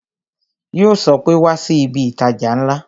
Yo sọ pé "Wá sí ibi itaja ńlá"